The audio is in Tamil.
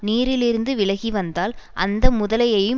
நீரிலிருந்து விலகிவந்தால் அந்த முதலையையும்